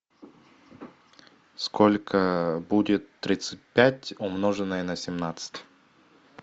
сколько будет тридцать пять умноженное на семнадцать